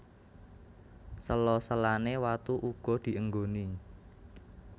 Sela selane watu uga dienggoni